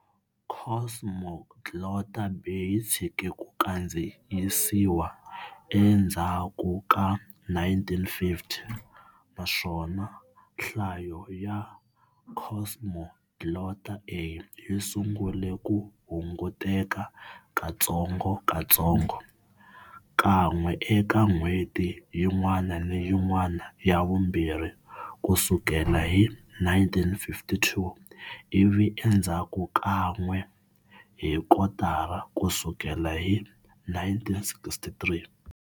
Cosmoglotta B yi tshike ku kandziyisiwa endzhaku ka 1950, naswona nhlayo ya Cosmoglotta A yi sungule ku hunguteka katsongotsongo-kan'we eka n'hweti yin'wana ni yin'wana ya vumbirhi ku sukela hi 1952, ivi endzhaku kan'we hi kotara ku sukela hi 1963.